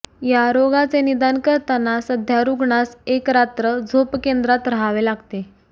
या रोगाचे निदान करताना सध्या रुग्णास एक रात्र झोपकेंद्रात रहावे लागते